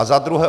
A za druhé.